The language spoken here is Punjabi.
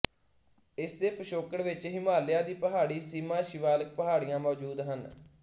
ਇਸਦੇ ਪਿਛੋਕੜ ਵਿੱਚ ਹਿਮਾਲਿਆ ਦੀ ਪਹਾੜੀ ਸੀਮਾ ਸ਼ਿਵਾਲਿਕ ਪਹਾੜੀਆਂ ਮੌਜੂਦ ਹਨ